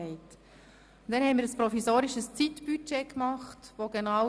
Wir haben ein provisorisches Zeitbudget erstellt.